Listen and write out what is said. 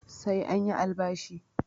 Sai an yi albashi